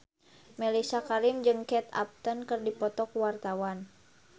Mellisa Karim jeung Kate Upton keur dipoto ku wartawan